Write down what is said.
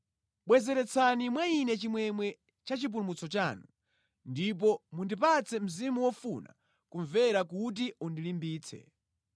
Bwezeretsani mwa ine chimwemwe cha chipulumutso chanu ndipo mundipatse mzimu wofuna kumvera kuti undilimbitse.